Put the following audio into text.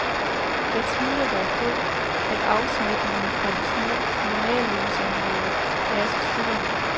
Jeg tvivler dog på, at afsmitningen fra de små normallønsområder er så stor.